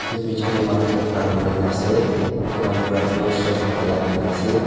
etu picture deh manu ekta khara kurigina asey etu manu pra blue shirt kapra lagai gina asey.